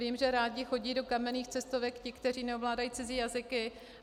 Vím, že rádi chodí do kamenných cestovek ti, kteří neovládají cizí jazyky.